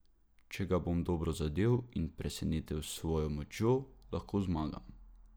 Če ga bom dobro zadel in presenetil s svojo močjo, lahko zmagam.